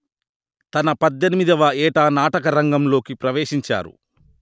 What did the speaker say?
తన పధ్ధెనిమిదివ ఏట నాటకరంగంలోకి ప్రవేశించారు